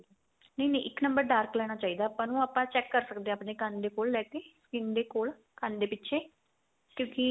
ਨਹੀਂ ਨਹੀਂ ਇੱਕ number dark ਲੈਣਾ ਚਾਹੀਦਾ ਆਪਾਂ ਨੂੰ ਆਪਾਂ check ਕ਼ਰ ਸਕਦੇ ਆ ਆਪਣੇ ਕੰਨ ਦੇ ਕੋਲ ਲੈਕੇ skin ਦੇ ਕੋਲ ਕੰਨ ਦੇ ਪਿੱਛੇ ਕਿਉਂਕਿ